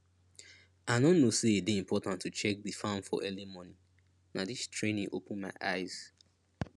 i no know say e dey important to check di farm for early morning na dis training open my eyes